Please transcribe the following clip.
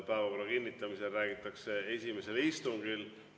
Päevakorra kinnitamise puhul räägitakse esimesest istungist.